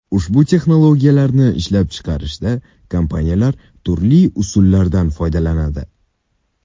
Ushbu texnologiyalarni ishlab chiqishda kompaniyalar turli usullardan foydalanadi.